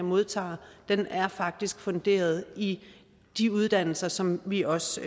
modtager faktisk er funderet i de uddannelser som vi også